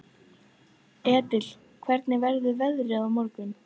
Edil, hvernig verður veðrið á morgun?